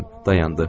Dayandı.